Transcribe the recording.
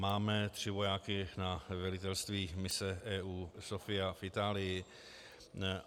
Máme tři vojáky na velitelství mise EU Sophia v Itálii.